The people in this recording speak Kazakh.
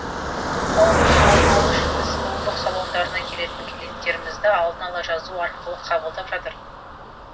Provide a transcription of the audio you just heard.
қауіптің алдын алу үшін біз сұлулық салондарына келетін клиенттерімізді алдын ала жазу арқылы қабылдап жатыр